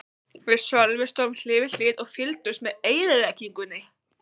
Við Sölvi stóðum hlið við hlið og fylgdumst með eyðileggingunni.